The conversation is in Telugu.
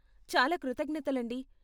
చాలా కృతజ్ఞతలండీ!